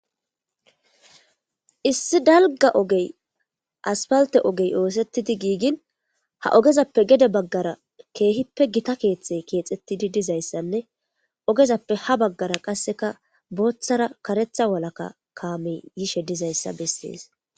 Issi dalga asfaltte ogey ossetidi gigin ha ogezzappe gede bagara kehippe kexetidi.diza keethanne ogezape ha bagara bothara karethara walakka kamey yishe dizayssa besses.